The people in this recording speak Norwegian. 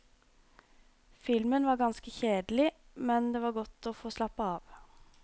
Filmen var ganske kjedelig, men det var godt å få slappe av.